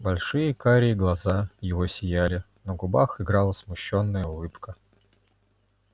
большие карие глаза его сияли на губах играла смущённая улыбка